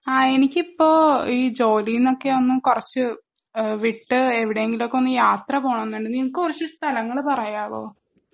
ആഹ് എനിക്കിപ്പോ ഈ ജോലിനൊക്കെ ഒന്ന് കൊറച്ച് ഏഹ് വിട്ട് എവിടെങ്കിലും ഒക്കെ ഒന്ന് യാത്ര പോണൊന്നുണ്ട് നിനക്കു കുറച്ച് സ്ഥലങ്ങൾ പറയാവോ